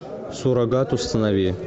суррогат установи